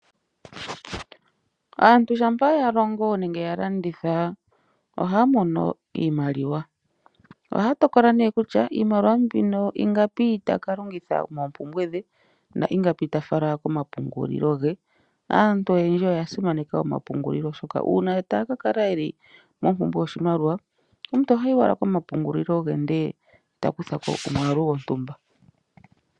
Aantu shampa ya longo nenge ya landitha oha mono iimaliwa. Oha tokola nee kutya iimaliwa mbino ingapi taka longitha moompumbwe dhe. Na ingapi ta fala komapungulilo ge. Aantu oyendji oya simaneka omapungulilo oshoka una taa kalala yeli mompumbwe yoshimaliwa omuntu ohayi owala komapungulilo ge ndele ta kutha ko omwaalu gontumba.